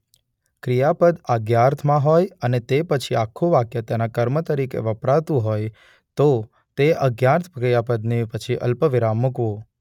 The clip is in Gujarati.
ક્રિયાપદ આજ્ઞાર્થમાં હોય અને તે પછી આખું વાક્ય તેના કર્મ તરીકે વપરાતું હોય તો તે આજ્ઞાર્થ ક્રિયાપદને પછી અલ્પવિરામ મૂકવું.